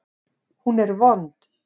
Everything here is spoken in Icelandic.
Hún er vond.